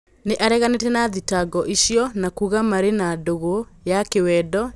Nĩ areganĩ te na thitango icio na kuuga marĩ na dũgũ ya kĩ wendo ya gwĩ tĩ kanĩ ria.